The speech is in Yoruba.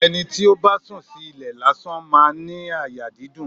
Ẹni tí ó bá sùn sí ilẹ̀ lásán máa ń ní àyà dídùn.